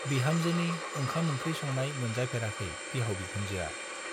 बिहामजोनि ओंखाम-ओंख्रि संनाय मोनजाफेराखै बिहाव बिखुनजोआ।